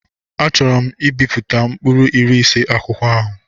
Achọọro m ibipụta mkpụrụ iri ise akwụkwọ ahụ.